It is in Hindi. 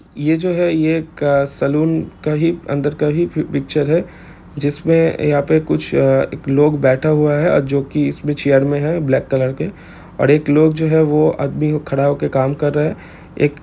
ये जो है ये एक सैलून का ही अंदर का ही एक पिक्चर है जिसमे यहाँ पे कुछ लोग कुछ लोग बैठा हुआ है जो की इसमें चेयर मे है ब्लैक कलर के और एक जो लोग है वह आदमी को खड़ा हो कर काम कर रहा हैं एक--